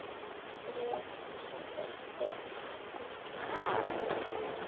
Bréf sem breytti gangi heimsmála